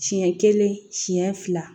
Siɲɛ kelen siɲɛ fila